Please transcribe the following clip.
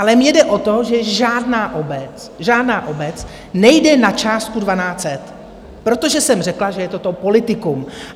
Ale mně jde o to, že žádná obec, žádná obec, nejde na částku 1 200, protože jsem řekla, že je toto politikum.